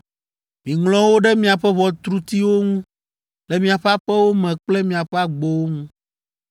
Miŋlɔ wo ɖe miaƒe ʋɔtrutiwo ŋu le miaƒe aƒewo me kple miaƒe agbowo ŋu,